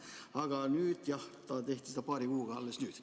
Aga jah, seda tehti paari kuuga alles nüüd.